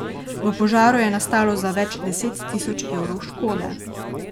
V požaru je nastalo za več deset tisoč evrov škode.